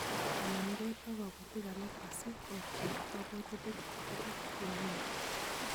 Onamgei ak kabotik alak asi opchei kabwatutik akobo EL Nino